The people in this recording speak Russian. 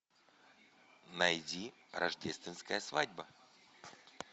найди рождественская свадьба